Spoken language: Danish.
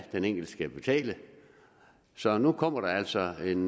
den enkelte skal betale så nu kommer der altså en